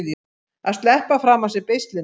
Að sleppa fram af sér beislinu